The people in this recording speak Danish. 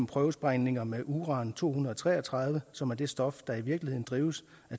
prøvesprængninger med uran to hundrede og tre og tredive som er det stof der i virkeligheden driver et